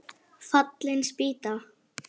Fallin spýta!